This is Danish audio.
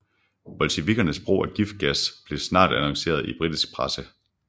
Bolsjevikkernes brug af giftgas blev snart annonceret i britisk presse